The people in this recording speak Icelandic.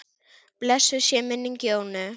Blessuð sé minning Jónu.